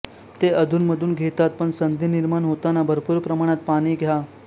ते अधूनमधून घेतात पण संधी निर्माण होताना भरपूर प्रमाणात पाणी घ्या